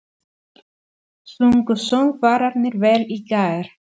Sungu söngvararnir vel í gær?